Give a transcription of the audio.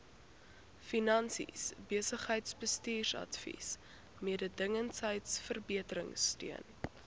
finansies besigheidsbestuursadvies mededingendheidsverbeteringsteun